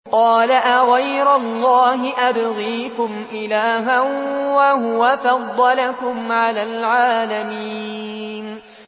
قَالَ أَغَيْرَ اللَّهِ أَبْغِيكُمْ إِلَٰهًا وَهُوَ فَضَّلَكُمْ عَلَى الْعَالَمِينَ